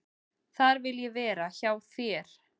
"""Þar vil ég vera, hjá þér."""